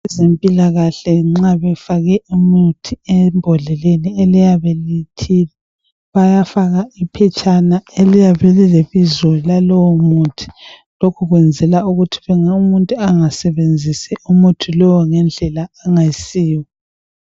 abezempilakahle nxa befake umuthi embodleleni bayafaka iphetshana eliyabe lilebizo lalowo muthi lokhu kwenzela ukuthi umuntu engasebenzisi umuthi lowu ngendlela engayisiwo